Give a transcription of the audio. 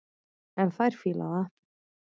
En þær fíla það.